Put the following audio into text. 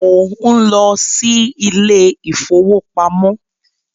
Mò ń lọ sí ilé ìfowópamọ́